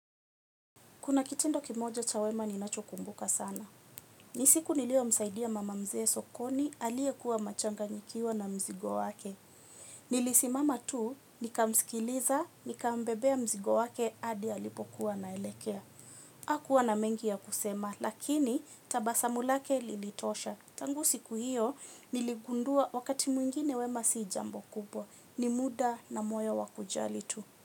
Kuna kitendo kimoja cha wema ninachokumbuka sana. Ni siku niliyomsaidia mama mzee sokoni aliye kuwa machanganyikiwa na mzigo wake. Nilisimama tu, nikamsikiliza, nikambebea mzigo wake, adi alipokuwa anaelekea. Hakuwa na mengi ya kusema lakini tabasamu yake lilitosha. Tangu siku hiyo niligundua wakati mwingine wema si jambo kubwa. Ni muda na moyo wa kujali tu.